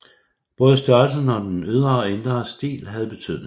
Både størrelsen og den ydre og indre stil havde betydning